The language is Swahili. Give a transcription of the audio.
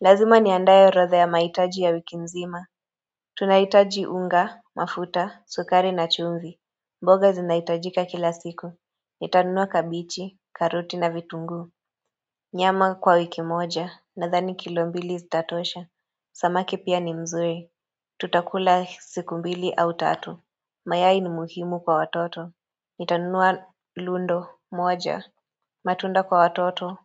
Lazima niandae orodha ya mahitaji ya wiki nzima Tunahitaji unga, mafuta, sukari na chumvi. Mboga zinahitajika kila siku. Nitanunua kabichi, karoti na vitungu Nyama kwa wiki moja na dhani kilo mbili zitatosha Samaki pia ni mzuri Tutakula siku mbili au tatu mayai ni muhimu kwa watoto Nitanunua lundo moja matunda kwa watoto